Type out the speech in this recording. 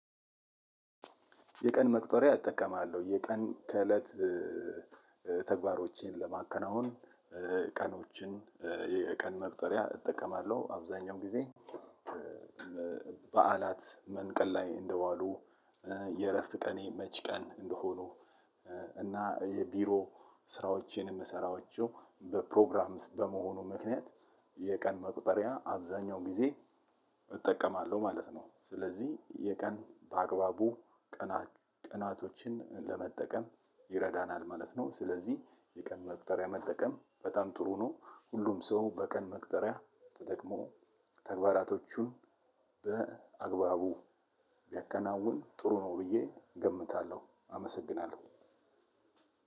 የቀን መቁጠሪያ እጠቀማለሁ የቀን ከለት ተግባሮችን ለማከናወን ቀኖችን የቀን መቁጠሪያ እጠቀማለሁ አብዛኛው ጊዜ። በዓላት ምንቀን ላይ እንደዋሉ የእረፍት ቀኔ መች ቀን እንደሆኑ እና የቢሮ ስራዎቼን እምሰራውቸው በፕሮግራምስ በመሆኑ ምክንያት። የቀን መቁጠሪያ አብዛኛው ጊዜ እጠቀማለሁ ማለት ነው። ስለዚህ የቀን በአግባቡ ቀና ቀናቶችን ለመጠቀም ይረዳናል ማለት ነው። ስለዚህ የቀን መቁጠሪያ መጠቀም በጣም ጥሩ ነው። ሁሉም ሰው በቀን መቅጠሪያ ተጠቅሞ ተግባራቶቹን በ አግባቡ ቢከናውን ጥሩ ነው ብዬ እገምታለሁ። አመሰግናለሁ።